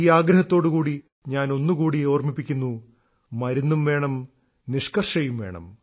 ഈ ആഗ്രഹത്തോടുകൂടി ഞാൻ ഒന്നുകൂടി ഓർമ്മിപ്പിക്കുന്നു മരുന്നും വേണം നിഷ്കർഷയും വേണം